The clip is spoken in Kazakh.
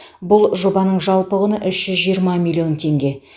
бұл жобаның жалпы құны үш жүз жиырма миллион теңге